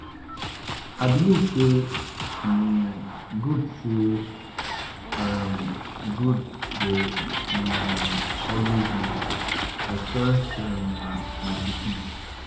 I believe say um good say um good go um always win. I trust um my pikin.